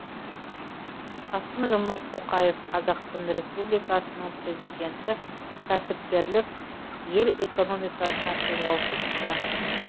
қасым жомарт тоқаев қазақстан республикасының президенті кәсіпкерлік ел экономикасының қозғаушы күші